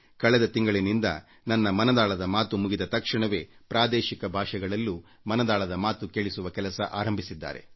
ಕಳೆದ ತಿಂಗಳಿನಿಂದ ನನ್ನ ಮನದಾಳದ ಮಾತು ಮುಗಿದ ತಕ್ಷಣವೇ ಪ್ರಾದೇಶಿಕ ಭಾಷೆಗಳಲ್ಲೂ ಮನದಾಳದ ಮಾತನ್ನು ಬಿತ್ತರಿಸುವ ಕೆಲಸ ಆರಂಭಿಸಿದ್ದಾರೆ